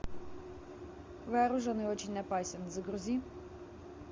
вооружен и очень опасен загрузи